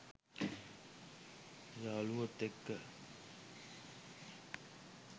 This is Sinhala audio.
යාළුවොත් එක්ක.